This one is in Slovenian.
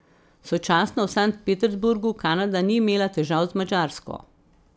Sočasno v Sankt Peterburgu Kanada ni imela težav z Madžarsko.